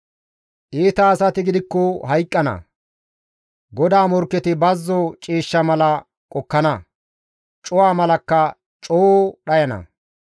Iita asati gidikko hayqqana; GODAA morkketi bazzo ciishsha mala qokkana; cuwa malakka coo dhayana.